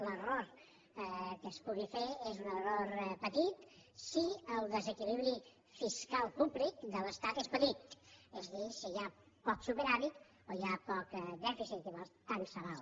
l’error que es pugui fer és un error pe·tit si el desequilibri fiscal públic de l’estat és petit és a dir si hi ha poc superàvit o hi ha poc dèficit llavors tant se val